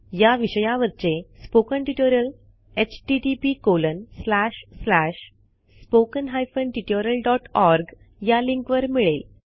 या विषयावरचे spoken tutorial httpspoken tutorialorg या लिंकवर मिळेल